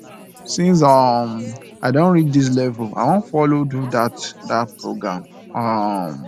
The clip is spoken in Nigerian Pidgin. since um i don reach dis level i wan follow do dat dat program um